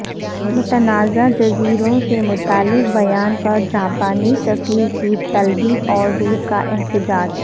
متنازع جزیروں سے متعلق بیان پر جاپانی سفیر کی طلبی اور روس کا احتجاج